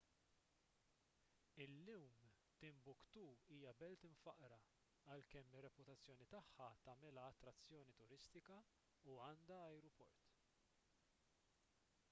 illum timbuktu hija belt imfaqqra għalkemm ir-reputazzjoni tagħha tagħmilha attrazzjoni turistika u għandha ajruport